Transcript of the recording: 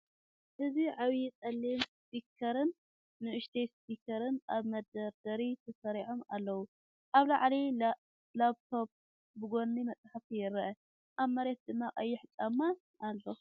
እዚ ዓቢ ጸሊም ስፒከርን ንእሽቶ ስፒከርን ኣብ መደርደሪ ተሰሪዖም ኣለዉ፡ ኣብ ላዕሊ ላፕቶፕ፡ ብጎኒ መጽሓፍቲ ይረኣዩ፡ ኣብ መሬት ድማ ቀይሕ ጫማ ኣሎ።